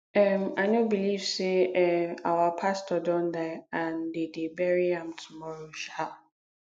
um i no believe say um our pastor don die and de dey bury am tomorrow um